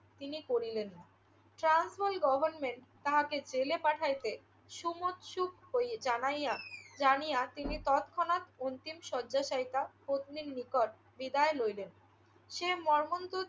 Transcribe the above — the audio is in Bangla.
তিনি করিলেন না। ট্রান্সভাল গভর্নমেন্ট তাহাকে জেলে পাঠাইতে সমোৎসুক হয়ে জানাইয়া জানিয়া তিনি তৎক্ষণাৎ অন্তিম শয্যায় শায়িতা পত্নীর নিকট বিদায় লইলেন। সেই মর্মন্তুদ